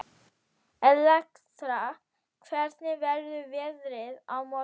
Elektra, hvernig verður veðrið á morgun?